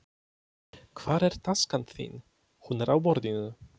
Hvar er taskan þín? Hún er á borðinu.